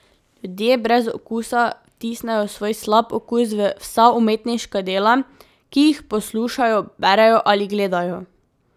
Ljudje brez okusa vtisnejo svoj slab okus v vsa umetniška dela, ki jih poslušajo, berejo ali gledajo.